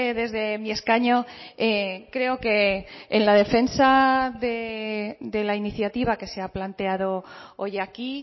desde mi escaño creo que en la defensa de la iniciativa que se ha planteado hoy aquí